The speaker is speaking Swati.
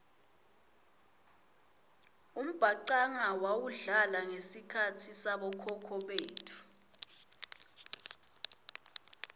umbhacanga wawudlala ngesikhatsi sabokhokho betfu